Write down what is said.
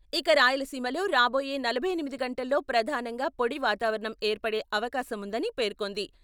ఇక రాయలసీమలో రాబోయే నలభై ఎనిమిది గంటల్లో ప్రధానంగా పొడి వాతావరణం ఏర్పడే అవకాశం ఉందని పేర్కొంది.